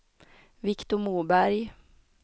Viktor Moberg